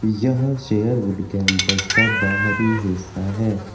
यह Sherwood campus का भारी हिस्सा है।